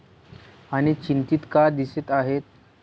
आणी चिंतित का दिसत आहेस?